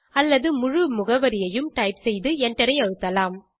அல்லது முழு முகவரியையும் டைப் செய்து எண்டரை அழுத்தலாம்